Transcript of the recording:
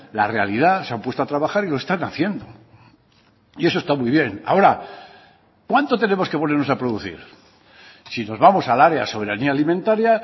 la realidad se han puesto a trabajar y lo están haciendo y eso está muy bien ahora cuánto tenemos que ponernos a producir si nos vamos al área soberanía alimentaria